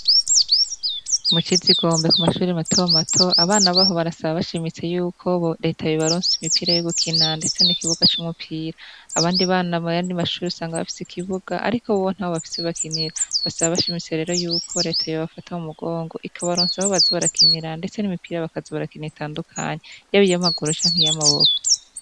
Mucizigombe ku mashure matomato, abana baho barasaba bashimitse yuko Reta yobaronsa imipira yo gukina ndetse n'ikibuga c'umupira. Abandi bana muyandi mashure usanga bafise ikibuga ariko bo ntaho bafise bakinira. Basaba bashimitse rero Yuko Reta yobafata mu mugongo ikabaronsa aho baza barakinira ndetse n'imipira baza barakina itandukanye yab'iyamaguru canke y'amaboko.